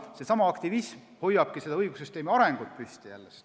Seesama aktivism hoiabki õigussüsteemi arengut püsti.